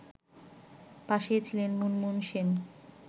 পাশে ছিলেন মুনমুন সেন